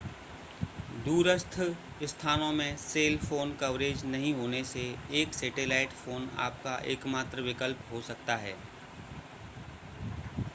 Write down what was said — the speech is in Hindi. दूरस्थ स्थानों में सेल फ़ोन कवरेज नहीं होने से एक सेटेलाइट फ़ोन आपका एकमात्र विकल्प हो सकता है